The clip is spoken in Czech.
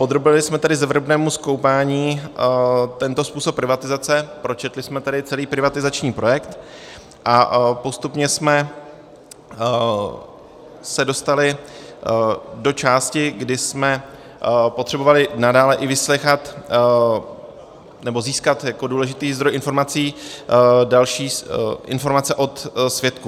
Podrobili jsme tedy zevrubnému zkoumání tento způsob privatizace, pročetli jsme tedy celý privatizační projekt a postupně jsme se dostali do části, kdy jsme potřebovali nadále i vyslýchat nebo získat jako důležitý zdroj informací další informace od svědků.